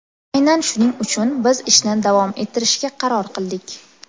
Aynan shuning uchun biz ishni davom ettirishga qaror qildik”.